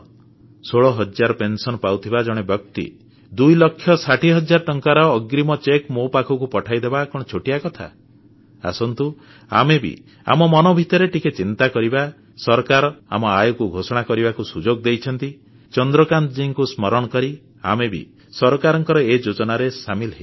16 ହଜାର ପେନସନ ପାଉଥିବା ଜଣେ ବ୍ୟକ୍ତି ଦୁଇ ଲକ୍ଷ 60 ହଜାର ଟଙ୍କାର ଅଗ୍ରୀମ ଚେକ୍ ମୋ ପାଖକୁ ପଠେଇଦେବା କଣ ଛୋଟିଆ କଥା ଆସନ୍ତୁ ଆମେ ବି ଆମ ମନ ଭିତରେ ଟିକେ ଚିନ୍ତା କରିବା ସରକାର ଆମ ଆୟକୁ ଘୋଷଣା କରିବାକୁ ସୁଯୋଗ ଦେଇଛନ୍ତି ଚନ୍ଦ୍ରକାନ୍ତଜୀଙ୍କୁ ସ୍ମରଣ କରି ଆମେ ବି ସରକାରଙ୍କ ଏ ଯୋଜନାରେ ସାମିଲ ହେଇଯିବା